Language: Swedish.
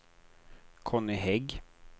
Conny Hägg